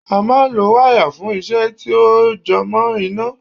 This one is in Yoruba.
A máa ń lo wáyà fún iṣẹ́ tí ó jẹ mọ́ iná